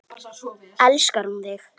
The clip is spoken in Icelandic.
Elskar hún þig?